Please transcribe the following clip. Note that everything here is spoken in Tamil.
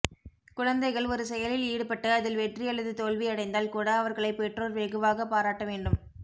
குழந்தைகள் ஒரு செயலில் ஈடுப்பட்டு அதில் வெற்றி அல்லது தோல்வி அடைந்தால் கூட அவர்களை பெற்றோர் வெகுவாக பாராட்ட வேண்டும்